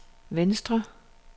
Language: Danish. venstre